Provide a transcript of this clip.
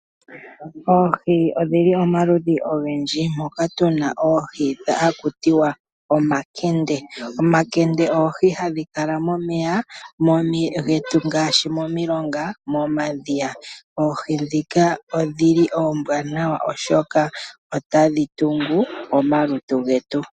Oohi odhili oma ludhi ogendji, moka tuna oohi haku tiwa omakende. Omakende oohi hadhi kala momeya, momeya getu ngaashi momi longa, moma dhiya. Oohi ndhika ondili oombwanawa oshoka otadhi tungu oma lutu getu.